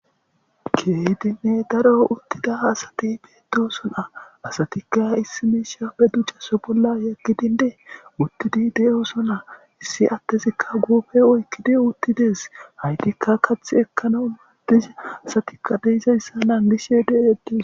keydinne daro uttida asati beedo sona asatikka issi meeshappe dujjaso bolla yaggidindee uttidi de7o sona issi attezikka guufe oykkidi uttidees haytikka kath ekkana madise asatikka deizayssa naangishe de7eti